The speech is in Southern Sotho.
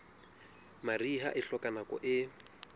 mariha e hloka nako e